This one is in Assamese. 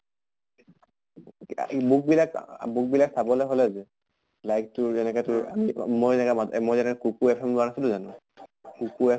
ই book বিলাক আ book বিলাক চাবলে হʼলে তোৰ like তোৰ যেনেকে তোৰ মই যেনেকে মা মই যেনেকে এখন লোৱা নাছিলো জানো?